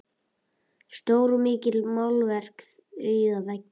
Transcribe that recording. Stór og mikil málverk prýða veggina.